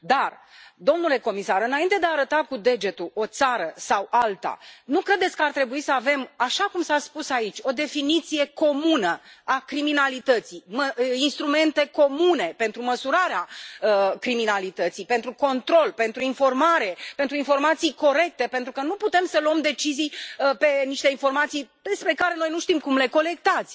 Dar, domnule comisar, înainte de a arăta cu degetul o țară sau alta, nu credeți că ar trebui să avem așa cum s a spus aici o definiție comună a criminalității, instrumente comune pentru măsurarea criminalității, pentru control, pentru informare, pentru informații corecte, pentru că nu putem să luăm decizii pe niște informații despre care noi nu știm cum le colectați.